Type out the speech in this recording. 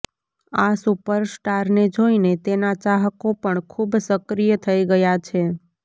આ સુપરસ્ટારને જોઇને તેના ચાહકો પણ ખૂબ સક્રિય થઈ ગયા છે